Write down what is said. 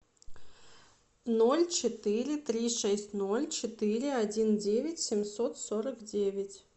ноль четыре три шесть ноль четыре один девять семьсот сорок девять